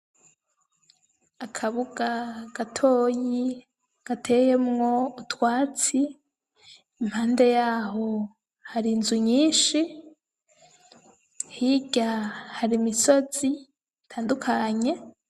Akabuga gatoyi gateyemwo utwatsi, impande yaho hari inzu nyinshi, hirya hari imisozi itandukanye.